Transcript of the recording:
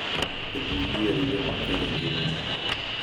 Kendo yier yo makare e ngimani.